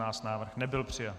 Návrh nebyl přijat.